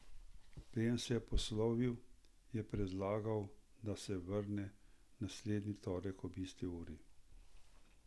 Preden se je poslovil, je predlagal, da se vrne naslednji torek ob isti uri.